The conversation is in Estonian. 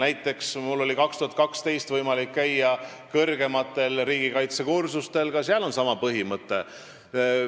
Näiteks oli mul aastal 2012 võimalik käia kõrgematel riigikaitsekursustel, kus oli ka sama põhimõte.